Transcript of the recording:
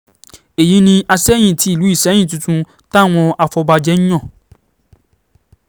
èyí ni àsẹ̀yìn tìlú ìsẹ̀yìn tuntun táwọn afọbajẹ yàn